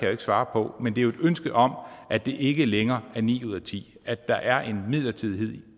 jo ikke svare på men det er et ønske om at det ikke længere er ni ud af ti at der er en midlertidighed